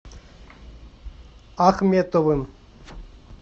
ахметовым